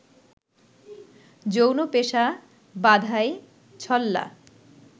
যৌন পেশা, বাঁধাই, ছল্লা